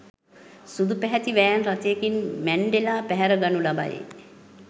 සුදු පැහැති වෑන් රථයකින් මැන්ඩෙලා පැහැර ගනු ලබයි